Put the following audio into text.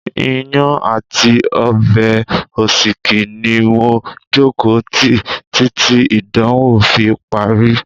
Iyán àti ọbẹ̀ òsíkí ni mo jókòó tí títí ìdánwò fi parí.